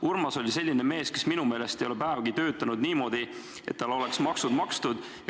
Urmas oli selline mees, kes minu meelest ei ole päevagi töötanud niimoodi, et tal oleks maksud makstud.